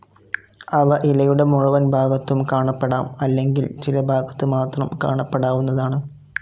അവ ഇലയുടെ മുഴുവൻ ഭാഗത്തും കാണപ്പെടാം അല്ലെങ്കിൽ ചില ഭാഗത്ത് മാത്രം കാണപ്പെടാവുന്നതാണ്.